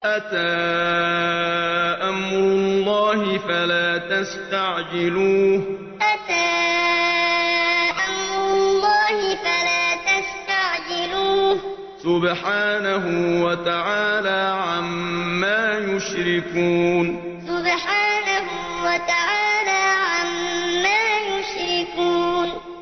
أَتَىٰ أَمْرُ اللَّهِ فَلَا تَسْتَعْجِلُوهُ ۚ سُبْحَانَهُ وَتَعَالَىٰ عَمَّا يُشْرِكُونَ أَتَىٰ أَمْرُ اللَّهِ فَلَا تَسْتَعْجِلُوهُ ۚ سُبْحَانَهُ وَتَعَالَىٰ عَمَّا يُشْرِكُونَ